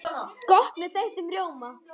Gott með þeyttum rjóma!